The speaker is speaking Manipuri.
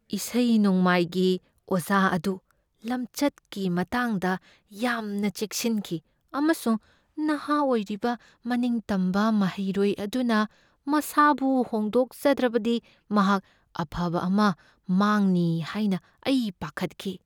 ꯏꯁꯩ ꯅꯣꯡꯃꯥꯏꯒꯤ ꯑꯣꯖꯥ ꯑꯗꯨ ꯂꯝꯆꯠꯀꯤ ꯃꯇꯥꯡꯗ ꯌꯥꯝꯅ ꯆꯦꯛꯁꯤꯟꯈꯤ ꯑꯃꯁꯨꯡ ꯅꯍꯥ ꯑꯣꯏꯔꯤꯕ ꯃꯅꯤꯡ ꯇꯝꯕ ꯃꯍꯩꯔꯣꯏ ꯑꯗꯨꯅ ꯃꯁꯥꯕꯨ ꯍꯣꯡꯗꯣꯛꯆꯗ꯭ꯔꯕꯗꯤ ꯃꯍꯥꯛ ꯑꯐꯕ ꯑꯃ ꯃꯥꯡꯅꯤ ꯍꯥꯏꯅ ꯑꯩ ꯄꯥꯈꯠꯈꯤ ꯫